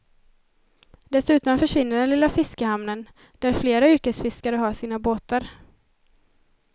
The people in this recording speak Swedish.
Dessutom försvinner den lilla fiskehamnen, där flera yrkesfiskare har sina båtar.